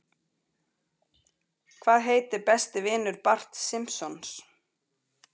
Hvað heitir besti vinur Barts Simpsons?